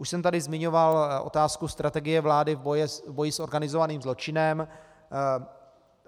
Už jsem tady zmiňoval otázku strategie vlády v boji s organizovaným zločinem.